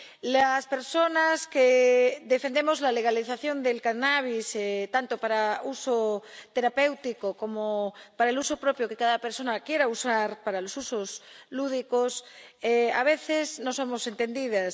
Las personas que defendemos la legalización del cannabis, tanto para uso terapéutico como para el uso propio que cada persona le quiera dar —para los usos lúdicos— a veces no somos entendidas.